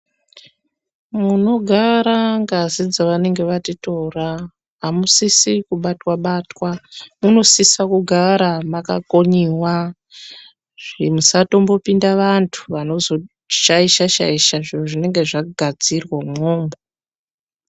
Munogara ngazi dzavanenge vatitora amusisi kubatwa batwa munosisa kugara makakonyiwazve musatombopinda vanthu vanozoshaisha shaisha zviro zvinenge zvagadzirwa umwomwo.